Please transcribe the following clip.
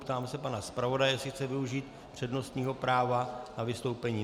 Ptám se pana zpravodaje, jestli chce využít přednostního práva na vystoupení.